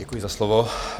Děkuji za slovo.